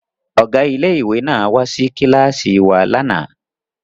Ọ̀gá ilé ìwé náà wá sí kíláàsì wa lánàá